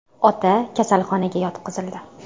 Ota kasalxonaga yotqizildi.